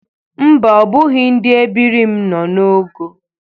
Mba, ọ bụghị ndị ebiri m nọ n'ogo